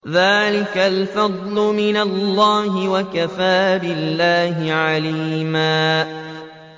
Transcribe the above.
ذَٰلِكَ الْفَضْلُ مِنَ اللَّهِ ۚ وَكَفَىٰ بِاللَّهِ عَلِيمًا